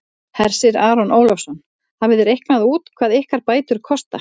Hersir Aron Ólafsson: Hafið þið reiknað út hvað ykkar bætur kosta?